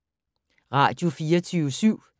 Radio24syv